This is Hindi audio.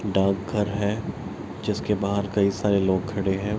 डाक घर है जिसके बहार कई सारे लोग खड़े हैं।